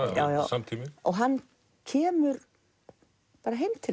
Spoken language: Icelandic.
samtíminn hann kemur bara heim til